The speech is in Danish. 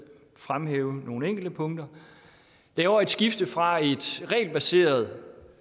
fremhæve nogle enkelte punkter vi laver et skifte fra et regelbaseret